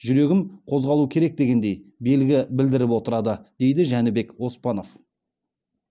жүрегім қозғалу керек дегендей белгі білдіріп отырады дейді жәнібек оспанов